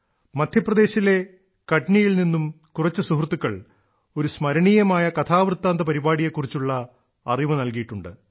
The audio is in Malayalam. മധ്യപ്രദേശിലെ കഠ്നിയിൽ നിന്നും കുറച്ചു സുഹൃത്തുക്കൾ ഒരു സ്മരണീയമായ കഥാവൃത്താന്ത പരിപാടിയെ കുറിച്ചുള്ള അറിവു നൽകിയിട്ടുണ്ട്